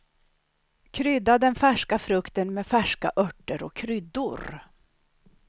Krydda den färska frukten med färska örter och kryddor.